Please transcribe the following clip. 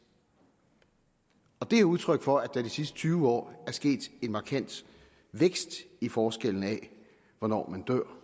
det er udtryk for at der i de sidste tyve år er sket en markant vækst i forskellen i hvornår man dør